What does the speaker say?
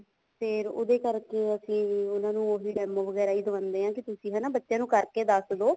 ਫ਼ੇਰ ਉਹਦੇ ਕਰਕੇ ਅਸੀਂ ਉਹਨਾ ਨੂੰ demo ਵਗੈਰਾ ਵੀ ਦਵਾਉਣੇ ਹਾਂ ਕੇ ਤੁਸੀਂ ਹਨਾ ਬੱਚਿਆਂ ਨੂੰ ਕਰਕੇ ਦੱਸ ਦਿਓ